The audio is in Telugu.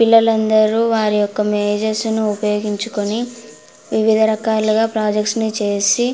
పిల్లలందరూ వారి యొక్క మేజస్సును ఉపయోగించుకొని వివిధ రకాలుగా ప్రాజెక్ట్స్ ని చేసి --